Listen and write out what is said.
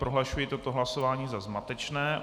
Prohlašuji toto hlasování za zmatečné.